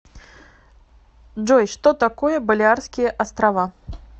джой что такое балеарские острова